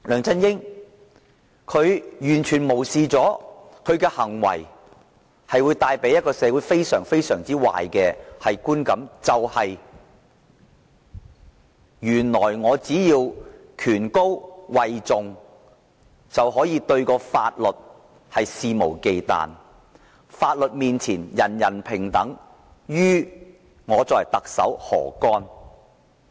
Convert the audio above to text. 他完全無視他的行為會為社會帶來非常壞的觀感：只要位高權重，便可對法律肆無忌憚；"法律面前人人平等"與特首何干？